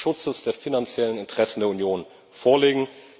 des Schutzes der finanziellen Interessen der Union vorlegen.